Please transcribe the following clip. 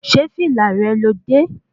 Ṣé fìlà rẹ lo dé?